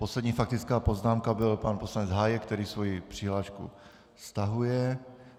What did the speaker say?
Poslední faktická poznámka byl pan poslanec Hájek, který svoji přihlášku stahuje.